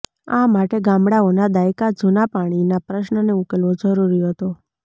આ માટે ગામડાઓના દાયકા જૂના પાણીના પ્રશ્નને ઉકેલવો જરૂરી હતો